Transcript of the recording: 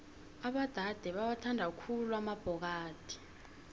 abodade bawathanda khulu amabhokadi